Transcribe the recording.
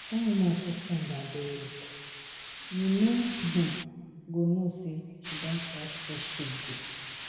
Dat woman too strong abeg. You no um go know say she don pass through shege.